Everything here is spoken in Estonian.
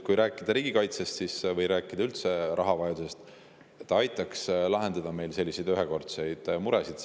Kui rääkida riigikaitsest või üldse rahavajadusest, siis aitaks meil lahendada selliseid ühekordseid muresid.